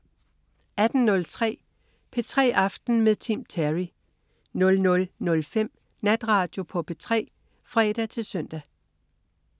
18.03 P3 aften med Tim Terry 00.05 Natradio på P3 (fre-søn)